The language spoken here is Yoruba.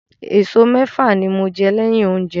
Eso mẹ́fà ni mo jẹ́ lẹ́yìn oúnjẹ.